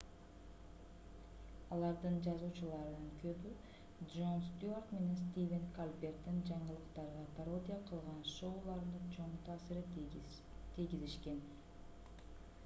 алардын жазуучуларынын көбү джон стюарт менен стивен колберттин жаңылыктарга пародия кылган шоуларына чоң таасирин тийгизишкен